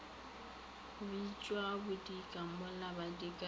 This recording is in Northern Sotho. bitšwa bodika mola badikana e